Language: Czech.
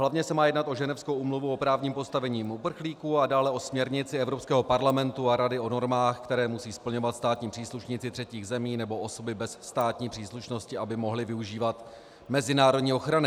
Hlavně se má jednat o Ženevskou úmluvu o právním postavení uprchlíků a dále o směrnici Evropského parlamentu a Rady o normách, které musí splňovat státní příslušníci třetích zemí nebo osoby bez státní příslušnosti, aby mohli využívat mezinárodní ochrany.